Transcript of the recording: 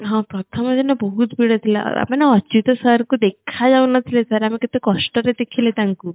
ହଁ ପ୍ରଥମଦିନ ବହୁତ ବଢିଆ ଥିଲା ମାନେ ଅଚୁତ sirକୁ ଦେଖା ଯାଉନଥିଲେ ଆମେ କେଟ କଷ୍ଟରେ ଦେଖିଲେ ତାଙ୍କୁ